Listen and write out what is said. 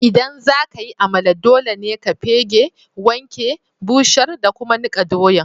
ldan zaka yi Amala, dole ne ka pegge, wanke, busher da kuma nikka doyan.